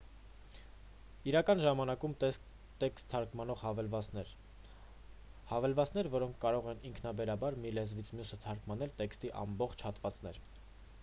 իրական ժամանակում տեքստ թարգմանող հավելվածներ հավելվածներ որոնք կարող են ինքնաբերաբար մի լեզվից մյուսը թարգմանել տեքստի ամբողջ հատվածներ